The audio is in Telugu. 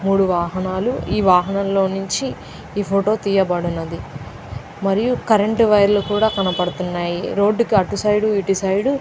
మూడు వాహనాలు ఈ వాహనంలో నుంచి ఈ ఫోటో తీయబడునది. మరియు కరెంటు వైర్ లు కూడా కనబడుతున్నాయి. రోడ్డు కి అటు సైడ్ ఇటు సైడ్ --